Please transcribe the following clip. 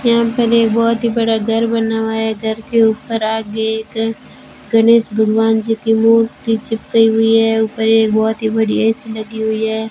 यहां पर एक बहुत ही बड़ा घर बना हुआ है घर के ऊपर आगे एक गणेश भगवान जी की मूर्ति चिपकाई हुई है ऊपर एक बहुत ही बढ़िया ए_सी लगी हुई है।